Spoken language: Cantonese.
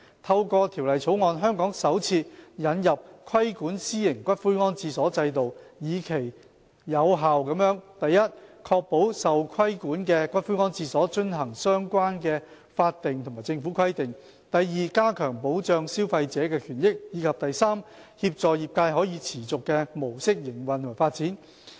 透過《條例草案》，香港首次引入規管私營骨灰安置所制度，以期有效地： a 確保受規管骨灰安置所遵行相關的法定和政府規定； b 加強保障消費者權益；及 c 協助業界以可持續的模式營運及發展。